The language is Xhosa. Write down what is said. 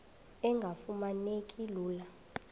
engafuma neki lula